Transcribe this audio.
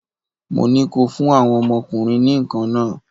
Mo ní kó o fún àwọn ọmọ ọkùnrin ní nǹkan nah!